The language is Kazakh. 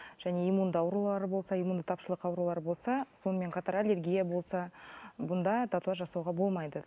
және иммунды аурулары болса иммунды тапшылық аурулар болса сонымен қатар аллергия болса бұнда татуаж жасауға болмайды